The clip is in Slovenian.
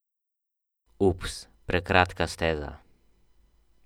Ups, prekratka steza.